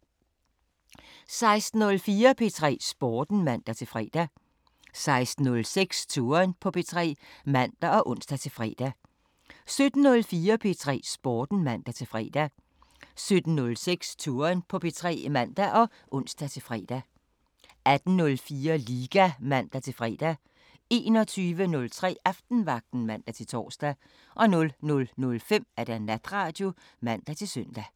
16:04: P3 Sporten (man-fre) 16:06: Touren på P3 (man og ons-fre) 17:04: P3 Sporten (man-fre) 17:06: Touren på P3 (man og ons-fre) 18:04: Liga (man-fre) 21:03: Aftenvagten (man-tor) 00:05: Natradio (man-søn)